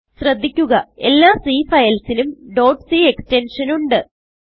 ശ്രദ്ധിക്കുക എല്ലാ Cഫയൽസിനും ഡോട്ട് c എക്സ്റ്റെൻഷൻ ഉണ്ട്